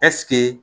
Ɛseke